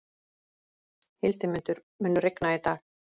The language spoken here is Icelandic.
Hildimundur, mun rigna í dag?